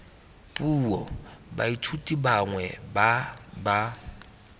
puo baithuti bangwe ba ba